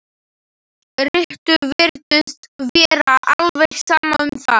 Rikku virtist vera alveg sama um það.